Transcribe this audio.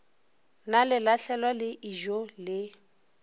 na lelahlelwa le ijoo le